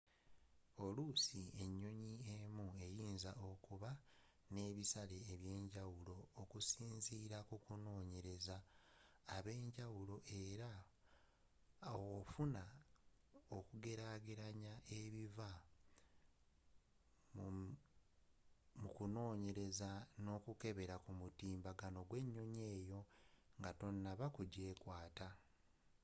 oluusi enyonyi emu eyinza okuba n'ebisale ebyenjawulo okusinziila kubanonyereza ab'enjawulo era ofunamu okugelagelanya ebiva mukunoonyereza n'okukebera kumutimbagano gw'enyonyi eyo nga tonaba kujeekwata